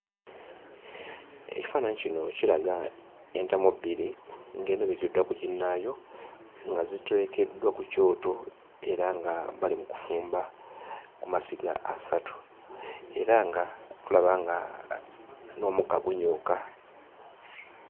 Ekifaananyi kino kiraga entamu bbiri ng'emu ebikkiddwa ku ginnaayo nga ziteekeddwa ku kyoto era nga bali mu kufumba ku masiga asatu, era nga tulaba nga a n'omukka gunyooka.